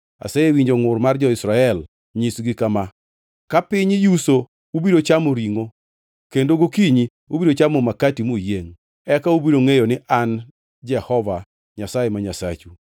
“Asewinjo ngʼur mar jo-Israel. Nyisgi kama, ‘Ka piny yuso ubiro chamo ringʼo kendo gokinyi ubiro chamo Makati muyiengʼ. Eka ubiro ngʼeyo ni an Jehova Nyasaye ma Nyasachu.’ ”